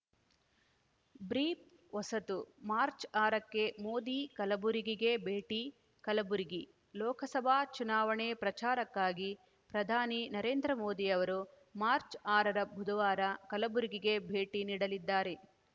brief ಹೊಸತು March ಆರಕ್ಕೆ ಮೋದಿ ಕಲಬುರಗಿಗೆ ಭೇಟಿ ಕಲಬುರಗಿ ಲೋಕಸಭಾ ಚುನಾವಣೆ ಪ್ರಚಾರಕ್ಕಾಗಿ ಪ್ರಧಾನಿ ನರೇಂದ್ರ ಮೋದಿ ಅವರು ಮಾರ್ಚ್ ಆರರ ಬುಧವಾರ ಕಲಬುರಗಿಗೆ ಭೇಟಿ ನೀಡಲಿದ್ದಾರೆ